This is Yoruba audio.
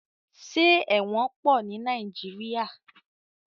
Ṣé ẹ̀wọ̀n pọ̀ ní Nàìjíríà?